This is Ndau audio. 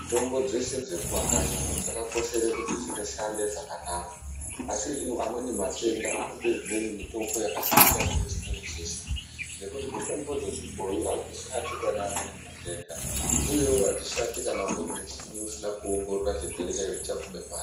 Mitombo dzeshe dzemumakanyi umo dzakakoshere kuti dzinoshanda munezvakanaka, asi amweni matenda anode zvimweni, mitombo yakatosiyana nazvimweni zveshe ngekuti mitombo dzechibhoi hadzishandi pane amweni matenda uyewo hadzishandi kana umweni muchini usina kuongorora kuti chirwere chacho chaguma pari.